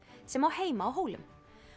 sem á heima á Hólum